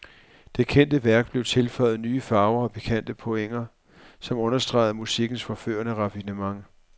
Det kendte værk blev tilføjet nye farver og pikante pointer, som understregede musikkens forførende raffinement.